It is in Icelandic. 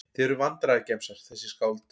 Þið eruð vandræðagemsar þessi skáld.